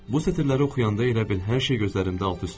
Bu sətirləri oxuyanda elə bil hər şey gözlərimdə alt-üst oldu.